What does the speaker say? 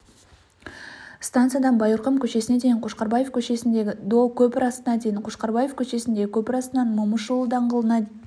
станциядан байырқұм көшесіне дейін қошқарбаев көшесіндегі до көпір астына дейін қошқарбаев көшесіндегі көпір астынан момышұлы даңғылына